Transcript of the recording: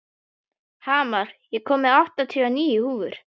Hamar, ég kom með áttatíu og níu húfur!